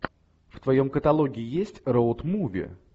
в твоем каталоге есть роуд муви